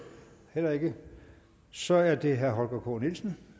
heller ikke så er det herre holger k nielsen